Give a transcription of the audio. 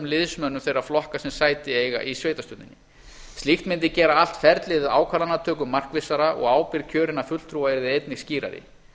liðsmönnum þeirra flokka sem sæti eiga í sveitarstjórninni slíkt mundi gera allt ferlið við ákvarðanatöku markvissara og ábyrgð kjörinna fulltrúa yrði einnig skýrari